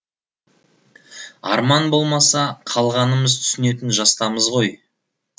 арман болмаса қалғанымыз түсінетін жастамыз ғой